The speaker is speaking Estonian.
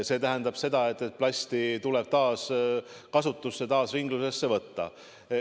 See tähendab seda, et plasti tuleb taaskasutusse, ringlusesse võtta.